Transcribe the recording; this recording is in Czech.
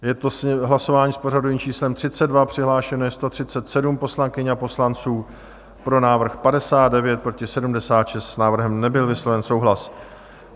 Je to hlasování s pořadovým číslem 32, přihlášeno je 137 poslankyň a poslanců, pro návrh 59, proti 76, s návrhem nebyl vysloven souhlas.